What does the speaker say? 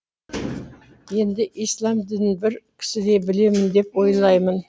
енді ислам дінін бір кісідей білемін деп ойлаймын